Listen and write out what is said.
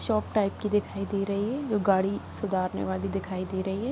Shop type की दिखाई दे रही है जो गाड़ी सुधारने वाली दिखाई दे रही है ।